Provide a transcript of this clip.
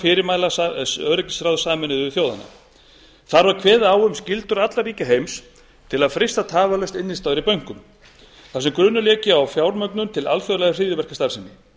fyrirmæla öryggisráðs sameinuðu þjóðanna þar var kveðið á um skyldur allra ríkja heims til að frysta tafarlaust innistæður í bönkum þar sem grunur léki á fjármögnun til alþjóðlegrar hryðjuverkastarfsemi